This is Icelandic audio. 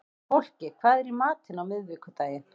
Fólki, hvað er í matinn á miðvikudaginn?